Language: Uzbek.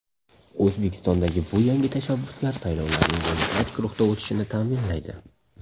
O‘zbekistondagi bu yangi tashabbuslar saylovlarning demokratik ruhda o‘tishini ta’minlaydi”.